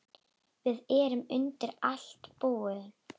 Við erum undir allt búin.